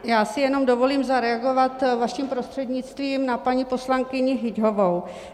Já si jenom dovolím zareagovat vaším prostřednictvím na paní poslankyni Hyťhovou.